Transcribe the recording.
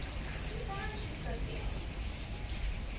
इसे सारांशित करते हैं